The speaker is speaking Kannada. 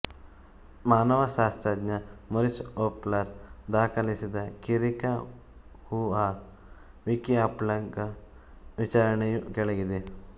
ಮಾನವಶಾಸ್ತ್ರಜ್ಞ ಮೊರಿಸ್ ಓಪ್ಲರ್ ದಾಖಲಿಸಿದ ಚಿರಿಕಹುಆ ವಿಕಿಅಪ್್ಗಳ ವಿವರಣೆಯು ಕೆಳಗಿದೆ